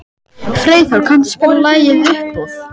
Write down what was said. Freyþór, kanntu að spila lagið „Uppboð“?